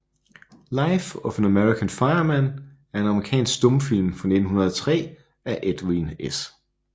Life of an American Fireman er en amerikansk stumfilm fra 1903 af Edwin S